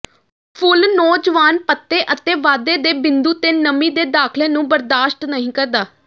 ਫੁੱਲ ਨੌਜਵਾਨ ਪੱਤੇ ਅਤੇ ਵਾਧੇ ਦੇ ਬਿੰਦੂ ਤੇ ਨਮੀ ਦੇ ਦਾਖਲੇ ਨੂੰ ਬਰਦਾਸ਼ਤ ਨਹੀਂ ਕਰਦਾ